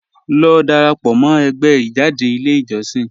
Lọ dárápọ̀ mọ̀ ẹ̀gbẹ́ ijádẹ̀ ilẹ̀ ijọ̀ṣìn